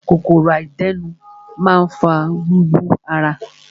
Kòkòrò àdénù máa ń fa wíwú ara.